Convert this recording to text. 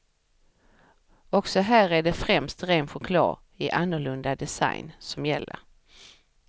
Också här är det främst ren choklad i annorlunda design som gäller.